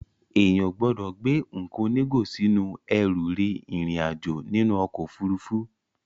Èèyàn ò gbọ́dọ̀ gbé nǹkan onígò sínú ẹrù rin ìrìn àjò nínú ọkọ̀ Òfurufú.